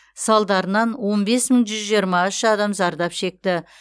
салдарынан он бес мың жүз жиырма үш адам зардап шекті